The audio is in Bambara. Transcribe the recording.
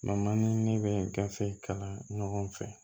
ni ne bɛ gafe kalan ɲɔgɔn fɛ